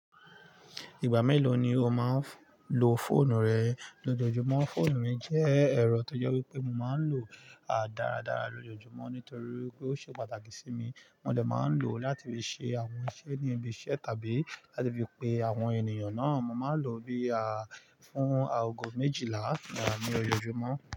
Ìgbà mélòó ni o máa ń lo fóònù rẹ lójoojúmọ́? Fóònù mi jẹ́ ẹ̀rọ tó jọ́ pé mo máa ń lò ó dáradára lójoojúmọ́ nítorí pé ó ṣe pàtàkì sí mi. Mo dẹ̀ máa ń lò ó láti fi ṣe àwọn iṣẹ́ ní ibi iṣẹ́ tàbí láti fi pe àwọn ènìyàn náà. Mo máa ń lò ó bí i fún aago méjìlá ní ọjọojúmọ́.